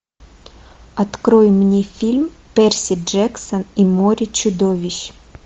открой мне фильм перси джексон и море чудовищ